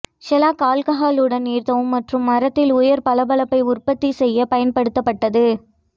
Sherlock ஆல்கஹாலுடன் நீர்த்தவும் மற்றும் மரத்தில் உயர் பளபளப்பை உற்பத்தி செய்ய பயன்படுத்தப்பட்டது